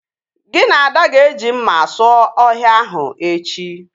Gị na Ada ga-eji mma sụọ ọhịa ahụ echi